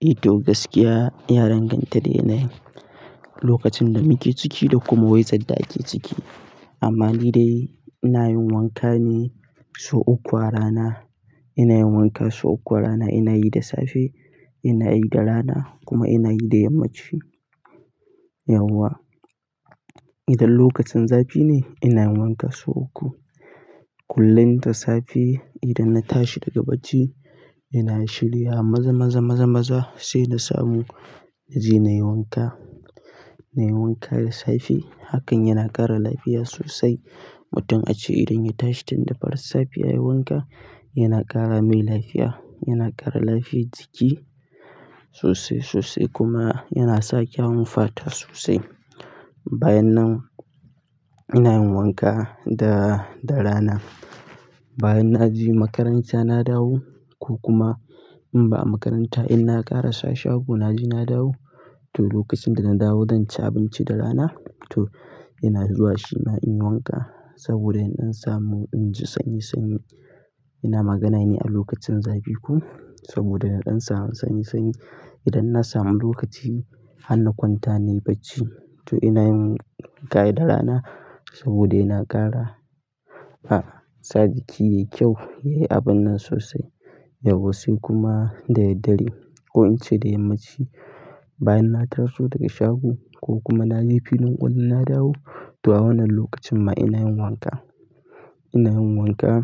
Eh to gaskiya ya danganta da yanayin lokacin da muke ciki da kuma wayar da ake ciki. Amma ni dai ina yin wanka ne sau uku a rana. Ina yin wanka sau uku a rana. Ina yi da safe, ina yi da rana kuma ina yi da yammaci, yauwa. Idan lokacin zafi ne ina yin wanka sau uku. Kullum da safe idan na tashi daga bacci ina shirya maza-maza, maza-maza sai da samu, dai na yi wanka. Na yi wanka da safe hakan yana ƙara lafiya sosai. Mutum a ce idan ya tashi tun da safe ya yi wanka yana ƙara mai lafiya, yana ƙara lafiyar jiki sosai, sosai kuma yana sa kyawun fata sosai. Bayan nan ina yin wanka da, da rana. Bayan na je makaranta na dawo ko kuma in ba makaranta in na ƙara sha shago na je na dawo. To lokacin da na dawo zan ci abinci da rana. To ina zuwa shima in yi wanka saboda in ɗan samu in ji sanyi, sanyi. Ina magana ne a lokacin zafi ko saboda in ɗan samu sanyi, sanyi. Idan na samu lokaci har na kwanta nayi bacci to ina yin kaya da rana saboda yana ƙara,, sa jiki yayi kyau, yayi abun nan sosai da basu kuma da daddare. Ko in ce da yammaci bayan na tarso daga shago ko kuma na je filin ƙwallon na dawo to a wannan lokacin ma ina yin wanka. Ina yin wanka